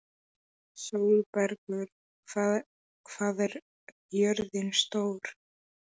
Sólbergur, hvað er jörðin stór?